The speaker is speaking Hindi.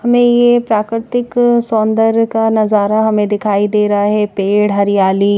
हमें ये प्राकृतिक सौंदर्य का नजारा हमें दिखाई दे रहा है पेड़ हरियाली--